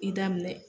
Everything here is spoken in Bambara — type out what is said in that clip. I daminɛ